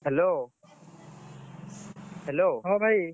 Hello Hello ହଁ ଭାଇ।